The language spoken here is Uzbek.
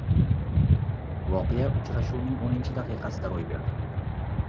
Voqea uchrashuvning o‘ninchi daqiqasida ro‘y berdi.